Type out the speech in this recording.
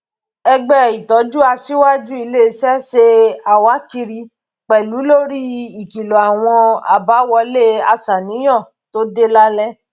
ẹgbẹ ìtójú aṣìwájú iléiṣẹ ṣe àwákiri pẹlú lórí ìkìlọ àwọn àbáwọlé aṣàníyàn tó dé lálẹ